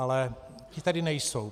Ale ti tady nejsou.